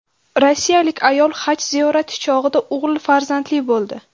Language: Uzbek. Rossiyalik ayol haj ziyorati chog‘ida o‘g‘il farzandli bo‘ldi.